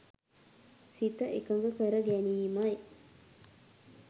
සිත එකඟ කර ගැනීමයි.